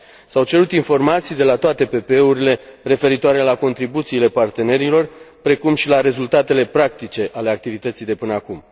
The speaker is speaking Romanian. S au cerut informații de la toate PPE urile referitoare la contribuțiile partenerilor, precum și la rezultatele practice ale activității de până acum.